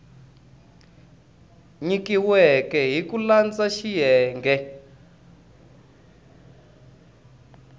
nyikiweke hi ku landza xiyenge